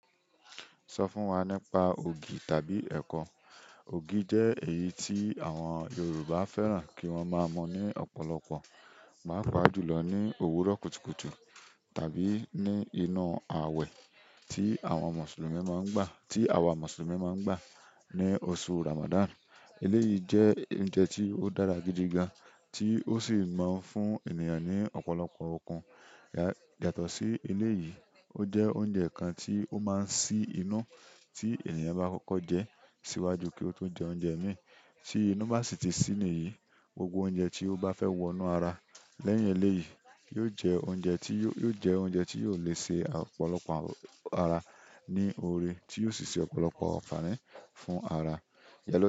Sọ fún wa nípa ògì tàbí ẹ̀kọ. Ògì jẹ́ èyí tí àwọn Yorùbá fẹ́ràn kí wọ́n máa mọ ní ọ̀pọ̀lọpọ̀. Paapa ju lo ni òwúrọ̀ kùtùkùtù tàbí ni inú awe ti àwọn Musulumi mon ngba ti awa Musulumi ma ngba ni oṣù ramadan. Eléyìí jẹ́ oúnjẹ tí ó dára gidi gan, tí ó sì máa ń fún ènìyàn ní ọ̀pọ̀lọpọ̀ okun. Yàtọ̀ sí eléyìí, ó jẹ́ oúnjẹ kan tí ó máa ń sí inú tí ènìyàn bá kọ́kọ́ jẹ ẹ́ síwájú kí ó tó jẹ oúnjẹ míì. Tí inú bá sì ti sí ni yìí, gbogbo oúnjẹ tí ó bá fẹ́ wọnú ara lẹ́yìn eléyìí yóò jẹ oúnjẹ tí, yóò jẹ oúnjẹ tí yóò lè ṣe ọ̀pọ̀lọpọ̀ ara ní òrè, tí yóò sì ṣe ọ̀pọ̀lọpọ̀ ànfàní fún ara.